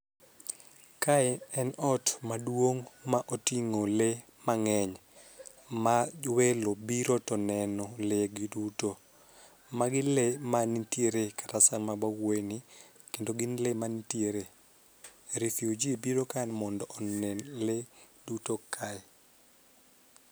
Kae en ot maduong' ma oting'o lee mang'eny ma welo biro to neno lee gi duto. Magi lee manitiere kata sama wawuoye ni kendo gin lee manitiere refugee biro ka mondo onen lee duto kae.